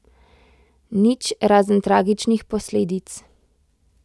Nič, razen tragičnih posledic.